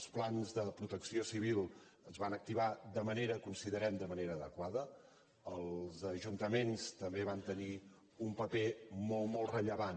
els plans de protecció civil es van acti·var considerem de manera adequada els ajuntaments també van tenir un paper molt molt rellevant